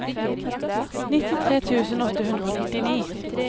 nittitre tusen åtte hundre og nittini